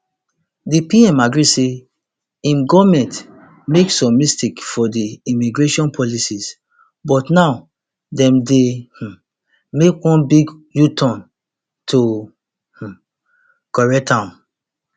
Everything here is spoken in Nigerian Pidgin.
di pm agree say im goment make some mistakes for di immigration policies but now dem dey um make one big uturn to um correct am